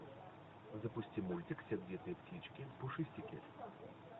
запусти мультик сердитые птички пушистики